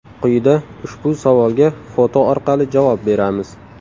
Quyida ushbu savolga foto orqali javob beramiz.